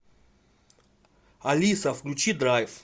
алиса включи драйв